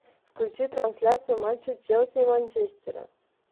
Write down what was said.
включи трансляцию матча челси и манчестера